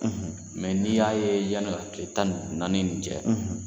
Mɛ ni'i y'a ye yanin ka kile tan naani nin jɛ.